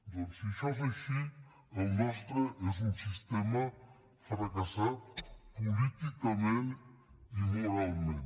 doncs si això és així el nostre és un sistema fracassat políticament i moralment